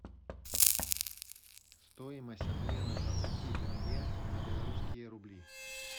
стоимость обмена двадцати тенге на белорусские рубли